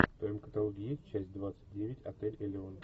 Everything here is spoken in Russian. в твоем каталоге есть часть двадцать девять отель элеон